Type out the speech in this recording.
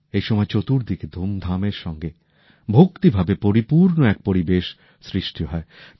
এই সময়ে চতুর্দিকে ধুমধামের সঙ্গেই ভক্তিভাবে পরিপূর্ণ এক পরিবেশ সৃষ্টি হয়